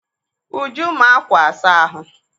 Uju maa ákwà asa ahụ.